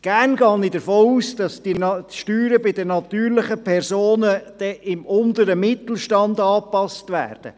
Gerne gehe ich davon aus, dass dann die Steuern für die natürlichen Personen beim unteren Mittelstand angepasst werden.